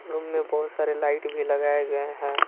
Room में बहुत सारे लाइट भी लगाए गए हैं।